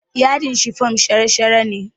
Yadin shifom shara-shara yake